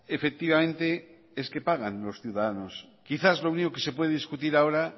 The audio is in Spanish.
efectivamente es que pagan los ciudadanos quizás lo único que se puede discutir ahora